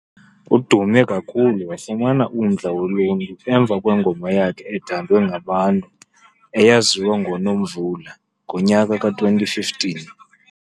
Udume kakhulu wafumana umdla woluntu emva kwengoma yakhe ethandwe ngabantu eyaziwa ngo "Nomvula" ngonyaka ka 2015.